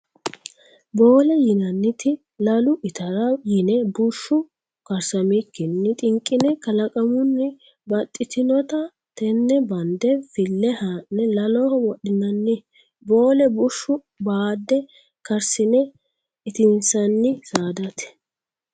Boole yinanniti lalu itara yine bushu karsamikkinni xinqine kalaqamuni baxittanotta tene bande file ha'ne laloho wodhinanni boolle bushshu baade karsine itisi'nanni saadate.